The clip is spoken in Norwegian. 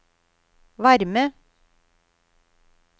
varme